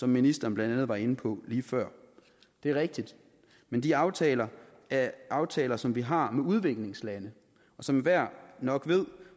ministeren blandt andet var inde på lige før det er rigtigt men de aftaler er aftaler som vi har med udviklingslandene og som enhver nok ved